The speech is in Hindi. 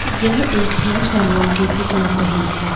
यह एक हेयर सैलून की पिक लग रही है।